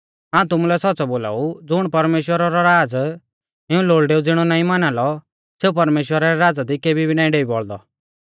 हाऊं तुमुलै सौच़्च़ौ बोलाऊ ज़ुण परमेश्‍वरा रौ राज़ इऊं लोल़डेऊ ज़िणौ नाईं माना लौ सेऊ परमेश्‍वरा रै राज़ा दी केबी भी नाईं डेई बौल़दौ